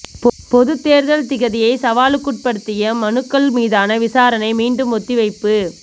பொதுத் தேர்தல் திகதியை சவாலுக்குற்படுத்திய மனுக்கள் மீதான விசாரணை மீண்டும் ஒத்திவைப்பு